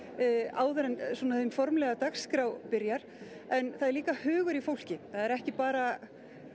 áður en hin formlega dagskrá byrjar en það er líka hugur í fólki ekki bara